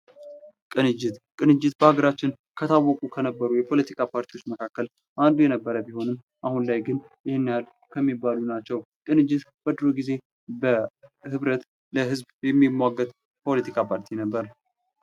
ቅንጅት ቅንጅት በሀገራችን ከታወቁ ከነበሩ የፖለቲካ ፓርቲዎች መካከል አንዱ የነበረ ቢሆንም አሁን ላይ ግን ይህንያህል ከሚባሉት ናቸው። ቅንጅት በድሮ ጊዜ በህብረት ለህዝብ የሚሟገት ፖለቲካ ፓርቲ ነበር።